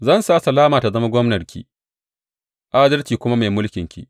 Zan sa salama ta zama gwamnarki adalci kuma mai mulkinki.